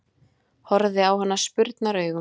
Horfði á hana spurnaraugum.